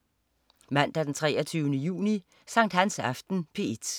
Mandag den 23. juni. Sankthansaften - P1: